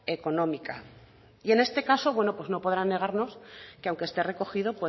económica y en este caso bueno pues no podrán negarnos que aunque esté recogido